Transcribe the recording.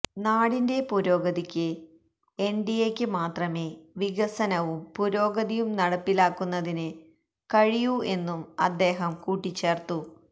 നാടിന്റെ പുരോഗതിക്ക് എന്ഡിഎക്ക് മാത്രമേ വികസനവും പുരോഗതിയും നടപ്പിലാക്കുന്നതിന് കഴിയൂ എന്നും അദ്ദേഹം കൂട്ടിച്ചേര്ത്തു